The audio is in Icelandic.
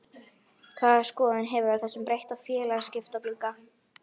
Hvaða skoðun hefurðu á þessum breytta félagaskiptaglugga?